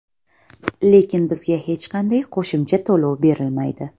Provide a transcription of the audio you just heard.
Lekin bizga hech qanday qo‘shimcha to‘lov berilmaydi.